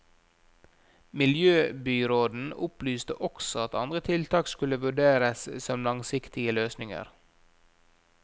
Miljøbyråden opplyste også at andre tiltak skulle vurderes som langsiktige løsninger.